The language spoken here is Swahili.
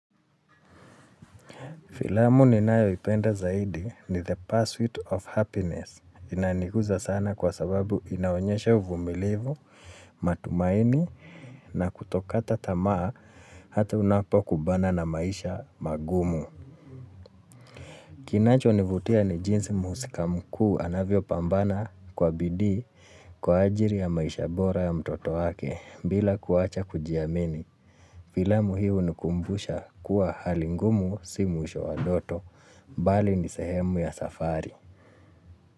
Filamu ninayoipenda zaidi ni the persuit of happiness. Inanikuza sana kwa sababu inaonyesha uvumilivu, matumaini na kutokata tamaa hata unapokubana na maisha magumu. Kinachonivutia ni jinsi mhusika mkuu anavyopambana kwa bidii kwa ajiri ya maisha bora ya mtoto wake bila kuacha kujiamini. Filamu hii unikumbusha kuwa hali ngumu si mwisho wa ndoto. Bali ni sehemu ya safari.